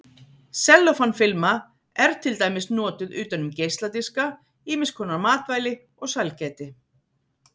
Sellófan-filma er til dæmis notuð utan um geisladiska, ýmiskonar matvæli og sælgæti.